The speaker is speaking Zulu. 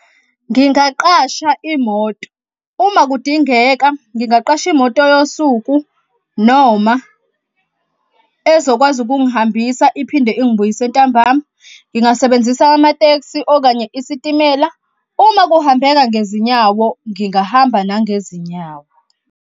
Ngingaaqasha imoto. Uma kudingeka ngingaqasha imoto yosuku noma ezokwazi ukungihambisa iphinde ingibuyise ntambama. Ngingasebenzisa amatekisi okanye isitimela. Uma kuhambeka ngezinyawo ngingahamba nangezinyawo.